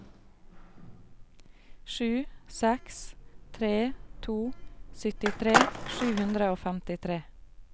sju seks tre to syttitre sju hundre og femtitre